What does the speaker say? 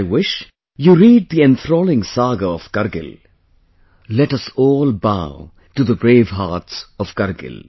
I wish you read the enthralling saga of Kargil...let us all bow to the bravehearts of Kargil